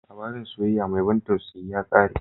Labarin soyayya mai ban tausayi ya ƙare.